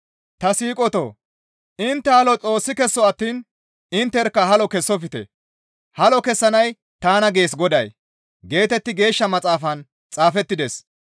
Ta siiqotoo! Intte halo Xoossi kesso attiin intterkka halo kessofte. «Halo kessanay tana gees Goday» geetetti Geeshsha Maxaafan xaafettides.